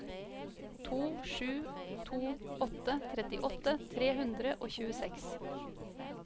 to sju to åtte trettiåtte tre hundre og tjueseks